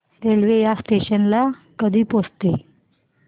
railway या station ला कधी पोहचते